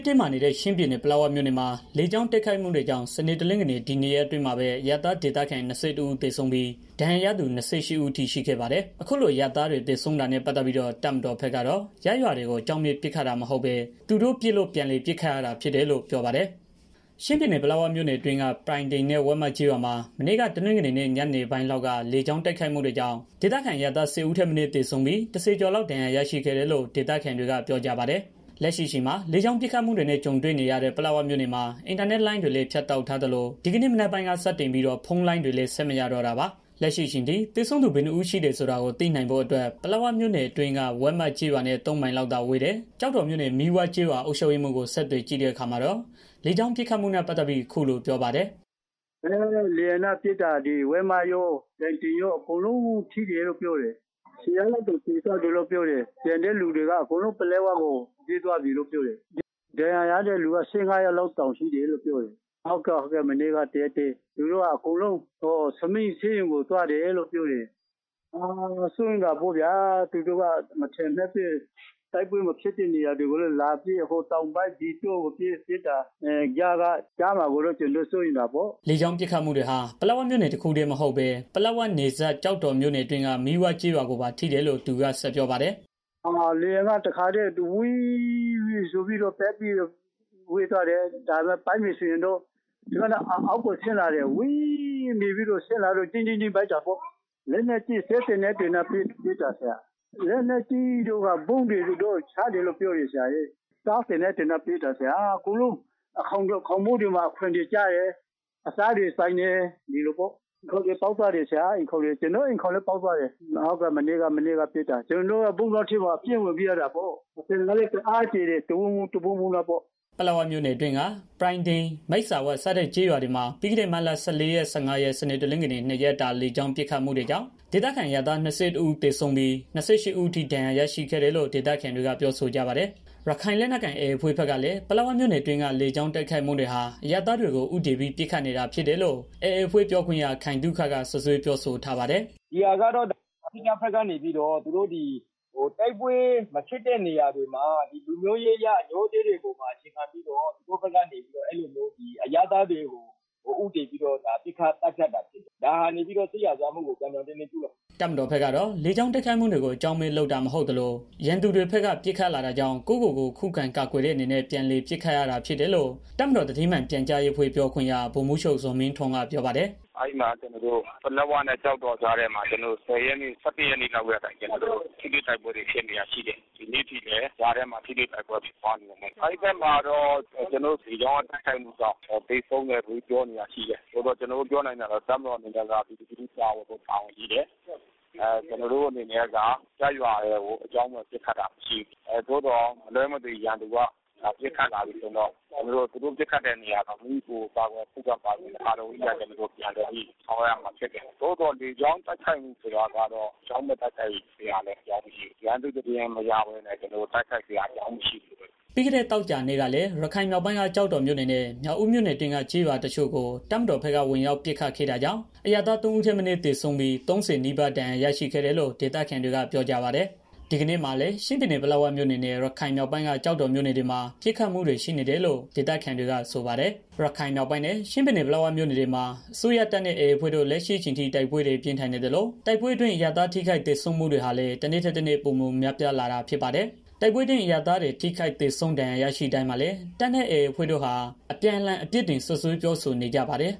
တင်းမာနေတဲ့ ချင်းပြည်နယ် ပလက်ဝမြို့နယ်မှာ လေကြောင်းတိုက်ခိုက်မှုတွေကြောင့် စနေ၊ တနင်္ဂနွေ ဒီနှစ်ရက်အတွင်းမှာပဲ အရပ်သားဒေသခံ ၂၁ ဦး သေဆုံးပြီး၊ ဒဏ်ရာရသူ ၂၈ ဦးအထိ ရှိခဲ့ပါတယ်။ အခုလိုအရပ်သားတွေ သေဆုံးတာနဲ့ ပတ်သတ်ပြီးတော့ တပ်မတော်ဘက်ကတော့ ရပ်ရွာတွေကို အကြောင်းမဲ့ ပစ်ခတ်တာ မဟုတ်ပဲ သူတို့ပစ်လို့ပြန်လည်ပစ်ခတ်ရတာလို့ ပြောပါတယ်။ ချင်းပြည်နယ် ပလက်ဝမြို့နယ်အတွင်းက ပြိုင်တင်နဲ့ ဝက်မကျေးရွာမှာ မနေ့က တနင်္ဂနွေနေ့ ညနေပိုင်းလောက်က လေကြောင်းတိုက်ခိုက်မှုတွေကြောင့် ဒေသခံအရပ်သား ၁၀ ဦးထက်မနည်း သေဆုံးပြီး ၁၀ ကျော်လောက် ဒဏ်ရာရရှိခဲ့တယ်လို့ ဒေသခံတွေက ပြောကြပါတယ်။ လက်ရှိအချိန်မှာ လေကြောင်း ပစ်ခတ်မှုတွေနဲ့ ကြုံတွေ့နေရတဲ့ ပလက်ဝမြို့နယ်မှာ အင်တာနက်လိုင်းတွေလည်း ဖြတ်တောက်ထားသလို ဒီကနေ့မနက်ပိုင်းက စတင်ပြီး ဖုန်းလိုင်းတွေလည်း ဆက်မရတော့တာပါ။ လက်ရှိအချိန်ထိ သေဆုံးသူ ဘယ်နှစ်ဦးရှိတယ်ဆိုတာကို သိနိုင်ဖို့အတွက် ပလက်ဝမြို့နယ်နဲ့ အတွင်းက ဝက်မကျေးရွာနဲ့ ၃ မိုင်လောက်သာဝေးတဲ့ ကျောက်တော်မြို့နယ် မီးဝကျေးရွာအုပ်ချုပ်ရေးမှူးကို ဆက်သွယ်ကြည့်တဲ့အခါမှာတာ့ လေကြောင်းပစ်ခတ်မှုနဲ့ ပတ်သတ်ပြီး အခုလိုပြောပါတယ်။ "လေယာဉ်နဲ့ ပစ်တာ ဝက်မကျေးရွာတို့ ပြိုင်တိုင်ကျေးရွာတို့ အကုန်လုံးထိတယ်လို့ ပြောတယ်။ ၁၀ယောက် လောက်တောင် သေသွားတယ်လို့ ပြောတယ်။ ကျန်တဲ့ သူတွေက အကုန်လုံး ပလက်ဝ မြို့ပေါ်ကို ပြေးသွားကြတယ်လို့ ပြောတယ်။ ဒဏ်ရာရတဲ့ သူက ၁၅ ယောက်လောက် ရှိတယ်လို့ ပြောတယ်။ စိုးရိမ်တာပေါ့ဗျာ သူတို့က မထင်မှတ်ပဲ တိုက်ပွဲမဖြစ်ပဲ တိုက်ပွဲမဖြစ်တဲ့ နေရာတွေကိုလည်း လာပြီးတော့ ဟိုတောင်ကိုပစ် ဒီတောင်ကိုပစ်နဲ့ ဆိုတော့ ကြားမှာ ကျနော်တို့ကို ထိမှာကိုကြောက်တယ်။ " လေကြောင်းပစ်ခတ်တွေဟာ ပလက်ဝမြို့နယ် တခုတည်းမဟုတ်ဘဲ ပလက်ဝနယ်စပ် ကျောက်တော်မြို့နယ်အတွင်းက မီးဝကျေးရွာ ကိုပါထိတယ်လို့ သူက ဆက်ပြောပါတယ်။ "လေယာဉ်က ပစ်တာကတော့ စက်သေနတ်တွေနဲ့ ပစ်တယ် ဗုံးတွေလည်း ချတယ်။ စက်သေနတ်တွေနဲ့ ပစ်တာကတော့ အကုန်လုံး အိမ်ခေါင်တွေ၊ ခေါင်မိုးတွေမှာ ကျတယ်။ အိမ်ခေါင်တွေ ပေါက်သွားကြတယ်။ ကျနော့် အိမ်လည်းပေါက်သွားတယ်။ မနေ့က တစ်နေလုံး ဗုံးတွင်းထဲမှာ ပြေးဝင်ပြီးတော့ နေကြရတယ်။ အသံက လည်းတစ်အားမြည်တာ တဝုန်းဝုန်း တဗုန်းဗုန်းနဲ့ပေါ့။" ပလက်ဝမြို့နယ်အတွင်းက ပြိုင်တိန် မိတ်စာဝ စတဲ့ ကျေးရွာတွေမှာ ပြီးခဲ့တဲ့ မတ်လ ၁၄ ရက် ၁၅ ရက် စနေ၊ တနင်္ဂနွေ နှစ်ရက်တာ လေကြောင်းပစ်ခတ်မှုတွေကြောင့် ဒေသခံအရပ်သား ၂၁ ဦး သေ ဆုံးပြီး ၂၈ ဦးအထိ ဒဏ်ရာရတာရှိတယ်လို့ ဒေသခံတွေက ပြောဆိုကြပါတယ်။ ရခိုင်လက်နက်ကိုင် AA အဖွဲ့ဘက်ကလည်း ပလက်ဝမြို့နယ်အတွင်းက လေကြောင်းတိုက်ခိုက်မှုတွေဟာ အရပ်သားတွေကို ဦးတည်ပြီးပစ်ခတ်နေတာဖြစ်တယ်လို့ AA အဖွဲ့ပြောခွင့်ရ ခိုင်သုခက စွပ်စွဲပြောဆိုထားပါတယ်။ "ဒီဟာကတော့ သူတို့ဘက်က လူမျိုးရေး အငြိုးအတေးပေါ်မှာ အခြေခံပြီးတော့ အရပ်သားတွေကို ဦးတည်ပြီးတော့ ပစ်ခတ်သတ်ဖြတ်တာဖြစ်တယ်။ ဒါက စစ်ရာဇဝတ်မှုကို ပြောင်းပြောင်းတင်းတင်း ကျုးလွန်တာဖြစ်တယ်။" တပ်မတော်ဘက်ကတော့ လေကြောင်းတိုက်ခိုက်မှုတွေကို အကြောင်းမဲ့ လုပ်တာမဟုတ်သလို ရန်သူတွေဘက်က ပစ်ခတ်လာတာကြောင့် ကိုယ့်ကိုကိုယ်ခုခံကာကွယ်တဲ့ အနေနဲ့ ပြန်လည် ပစ်ခတ်ရတာ ဖြစ်တယ်လို့ တပ်မတော်သတင်းမှန်ပြန်ကြားရေအဖွဲ့ ပြောခွင့်ရ ဗိုလ်မှူးချုပ် ဇော်မင်းထွန်းက ပြောပါတယ်။ "ပလက်ဝနဲ့ ကျောက်တော်ကြားထဲမှာ ကျနော်တို့ ၁၀ ရက် ၁၁ ရက်နေ့လောက်ကတည်းက ထိတွေ့တိုက် ပွဲဖြစ်နေတာရှိတယ်။ ဒီနေ့အထိလည်း ဖြစ်နေတယ်။ အဲဒီမှာ ကျနော်တို့ လေကြောင်းတိုက်ခိုက်မှုတွေကြောင့် သေဆုံးသူတွေ ရှိတယ်လို့ ပြောနေတာတွေ ရှိတယ်။ ကျနော်တို့ ပြောနိုင်တာက ကျနော်တို့ အနေနဲ့ ပြည်သူလူထုကို ကာကွယ်ဖို့ တာဝန်ရှိတယ်။ ကျနော်တို့ အနေနဲ့က ရပ်ရွာတွေကို အကြောင်းမဲ့ ပစ်တာမရှိဘူး။ သို့သော် မလွဲမ သွေ ရန်သူက ပစ်ခတ်လာပြီဆိုရင်တော့ သူတို့ပစ်ခတ်တဲ့နေရာတွေကို မိမိကိုယ်ကို ခုခံကာကွယ်တဲ့အနေနဲ့ ပြန်လည် ပစ်ခတ်ရတာ ရှိတယ်။ လေကြောင်းတိုက်ခိုက်မှု ဆိုတာကတော့ ရန်သူ့သတင်းမရဘဲ ကျနော်တို့ တိုက်ခိုက်စရာအကြောင်း မရှိဘူး။" ပြီးခဲ့တဲ့သောကြာနေ့ကလည်း ရခိုင်မြောက်ပိုင်းက ကျောက်တော်မြို့နယ်နဲ့ မြောက်ဦးမြို့နယ် အတွင်းက ကျေးရွာ တချို့ကို တပ်မတော်ဘက်က ဝင်ရောက်ပစ်ခတ်ခဲ့တာကြောင့် အရပ်သား ၃ ဦးထက်မနည်း သေဆုံးပြီး ၃၀ နီးပါး ဒဏ်ရာရရှိခဲ့တယ်လို့ ဒေသခံတွေက ပြောပါတယ်။ ဒီကနေ့မှာလည်း ချင်းပြည်နယ် ပလက်ဝမြို့နယ်နဲ့ ရခိုင်မြောက်ပိုင်းက ကျောက်တော်မြို့နယ်တွေမှာ ပစ်ခတ်မှုတွေ ရှိနေတယ်လို့ ဒေသခံတွေက ဆိုပါတယ်။ ရခိုင်မြောက်ပိုင်းနဲ့ ချင်းပြည်နယ် ပလက်ဝမြို့နယ်တွေမှာ အစိုးရတပ်နဲ့ AA အဖွဲ့တို့လက်ရှိအချိန်ထိ တိုက်ပွဲတွေ ပြင်းထန်နေသလို တိုက်ပွဲ အရပ်သား ထိခိုက်သေဆုံးမှုတွေဟာလည်း တနေ့ထက်တနေ့ ပိုမိုများပြားလာတာ ဖြစ်ပါတယ်။ တိုက်ပွဲအတွင်း အရပ်သားတွ သေဆုံးထိခိုက်ဒဏ်ရာ ရရှိတိုင်းမှာလည်း တပ်နဲ့ AA အဖွဲ့တို့ အပြန် အလှန် အပြစ်တင်စွပ်စွဲပြောဆိုနေကြပါတယ်